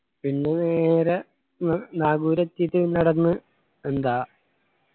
പിന്നെ നേരെ നാഗൂർ എത്തിയിട്ട് നടന്ന് എന്താ